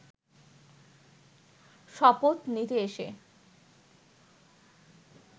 শপথ নিতে এসে